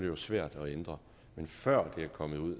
jo svært at ændre men før det kommer ud